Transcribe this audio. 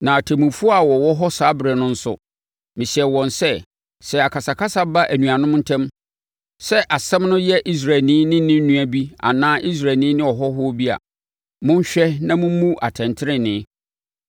Na atemmufoɔ a wɔwɔ hɔ saa ɛberɛ no nso, mehyɛɛ wɔn sɛ, sɛ akasakasa ba anuanom ntam, sɛ asɛm no yɛ Israelni ne ne nua bi anaa Israelni ne ɔhɔhoɔ bi a, monhwɛ na mommu atɛntenenee.